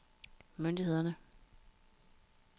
myndighederne